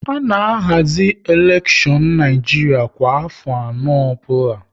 A na ahazi elekshon n'Naijiria kwa afọ anọ ọbụla